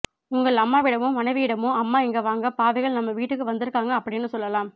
உங்கள் அம்மாவிடமோ மனைவியிடமோ அம்மா இங்க வாங்க பாவிகள் நம்ம வீட்டுக்கு வந்திருக்காங்க அப்படின்னு சொல்லலாம்